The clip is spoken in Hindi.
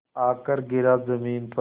आकर गिरा ज़मीन पर